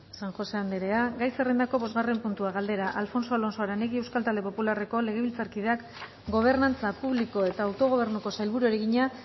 san josé andrea gai zerrendako bosgarren puntua galdera alfonso alonso aranegui euskal talde popularreko legebiltzarkideak gobernantza publiko eta autogobernuko sailburuari egina